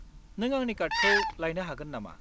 नों आंनि कार्डखौ लायनो हागोन नामा?